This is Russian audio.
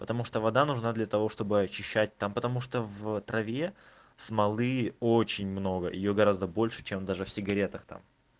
потому что вода нужна для того чтобы очищать там потому что в траве смолы очень много её гораздо больше чем даже в сигаретах там